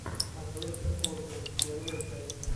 а точка осгард первая часть